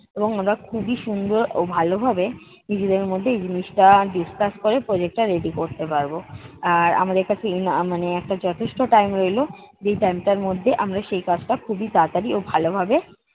এবং আমরা খুবই সুন্দর ও ভালো ভাবে, নিজেদের মধ্যে এই জিনিসটা duscuss ক'রে project টা ready করতে পারবো। আর আমাদের কাছে আহ মানে একটা যথেষ্ট time রইলো যেই time টার মধ্যে আমরা সেই কাজটি খুবই তাড়াতাড়ি ও ভালো ভাবে